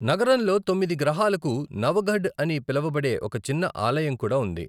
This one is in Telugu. నగరంలో తొమ్మిది గ్రహాలకు నవఘడ్ అని పిలువబడే ఒక చిన్న ఆలయం కూడా ఉంది.